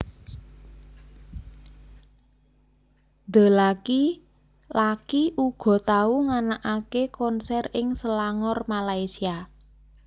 The Lucky laki uga tau nganakaké konser ing Selangor Malaysia